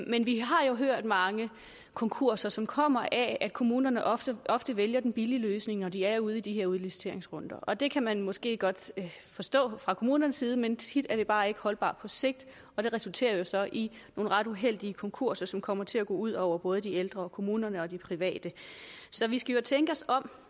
men vi har jo hørt om mange konkurser som kommer af at kommunerne ofte ofte vælger den billige løsning når de er ude i de her udliciteringsrunder og det kan man måske godt forstå fra kommunernes side men tit er det bare ikke holdbart på sigt og det resulterer så i nogle ret uheldige konkurser som kommer til at gå ud over både de ældre kommunerne og de private så vi skal jo tænke os om